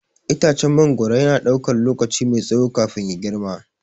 Itacen mangwaro yana ɗaukar lokaci mai tsawo kafin ya girma.